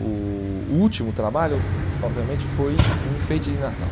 O o último trabalho, eh obviamente, foi um enfeite de Natal.